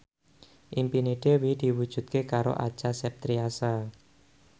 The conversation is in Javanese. impine Dewi diwujudke karo Acha Septriasa